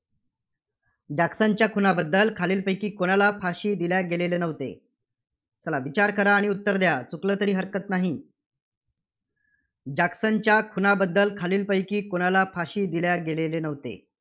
जॅक्सनच्या खुनाबद्दल खालीलपैकी कुणाला फाशी दिल्या गेलेले नव्हते? चला विचार करा आणि उत्तर द्या. चुकलं तरी हरकत नाही. जॅक्सनच्या खुनाबद्दल खालीलपैकी कुणाला फाशी दिल्या गेलेले नव्हते?